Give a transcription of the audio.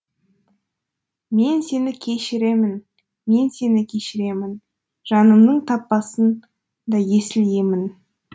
мен сені кешіремін мен сені кешіремін жанымның таппасың да есіл емін